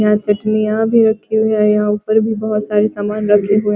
यहाँ चटनियाँ भी रखी है यहाँ ऊपर भी बहुत सारे सामान रखे हुए हैं --